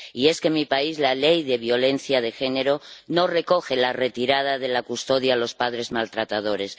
Y es que, en mi país, la ley contra la violencia de género no recoge la retirada de la custodia a los padres maltratadores.